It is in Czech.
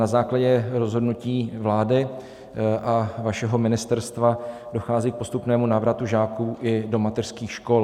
Na základě rozhodnutí vlády a vašeho ministerstva dochází k postupnému návratu žáků i do mateřských škol.